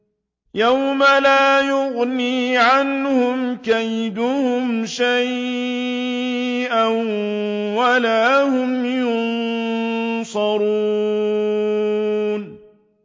يَوْمَ لَا يُغْنِي عَنْهُمْ كَيْدُهُمْ شَيْئًا وَلَا هُمْ يُنصَرُونَ